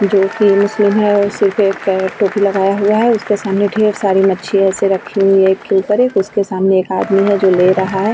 जो कि मुस्लिम है वो सिर पे कै टोपी लगाया हुआ है। उसके सामने ढेर सारी मछी ऐसे रखी हुई हैं एक के ऊपर एक। उसके सामने एक आदमी है जो ले रहा है।